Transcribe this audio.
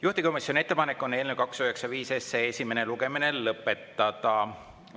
Juhtivkomisjoni ettepanek on eelnõu 295 esimene lugemine lõpetada.